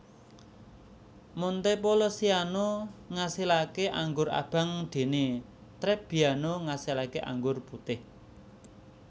Montepulciano ngasilaké anggur abang déné Trebbiano ngasilaké anggur putih